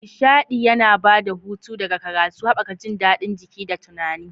Nishaɗi yana ba da hutu daga karatu, haɓaka jin daɗin jiki da tunani.